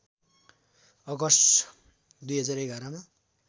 August २०११ मा